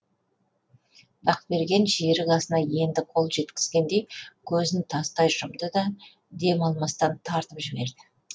бақберген жерік асына енді қол жеткізгендей көзін тастай жұмды да дем алмастан тартып жіберді